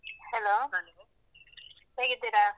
Hello ಹೇಗಿದ್ದೀರಾ?